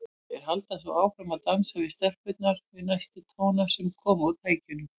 Þeir halda svo áfram að dansa við stelpurnar við næstu tóna sem koma úr tækjunum.